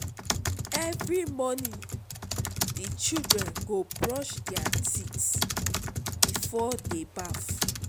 Every morning, di children go brush their teeth before dey baff.